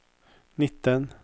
nitten